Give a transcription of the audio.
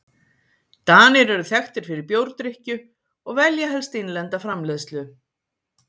Danir eru þekktir fyrir bjórdrykkju og velja helst innlenda framleiðslu.